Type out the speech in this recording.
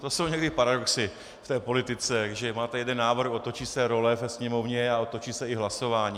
To jsou někdy paradoxy v té politice, když máte jeden návrh, otočí se role ve Sněmovně a otočí se i hlasování.